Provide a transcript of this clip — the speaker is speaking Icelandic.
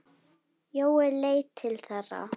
Jói leit til þeirra.